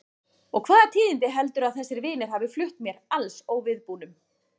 Og hvaða tíðindi heldurðu að þessir vinir hafi flutt mér alls óviðbúnum?